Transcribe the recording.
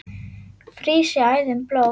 frýs í æðum blóð